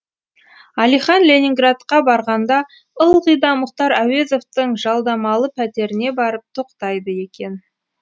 әлихан ленинградқа барғанда ылғи да мұхтар әуезовтің жалдамалы пәтеріне барып тоқтайды екен